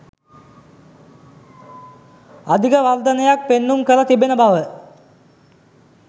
අධික වර්ධනයක් පෙන්නුම් කර තිබෙන බව